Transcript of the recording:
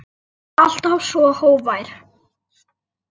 Alltaf svo hógvær.